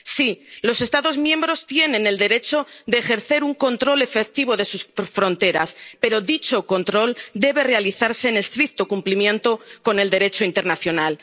Sí, los Estados miembros tienen el derecho de ejercer un control efectivo de sus fronteras, pero dicho control debe realizarse en estricto cumplimiento del Derecho internacional.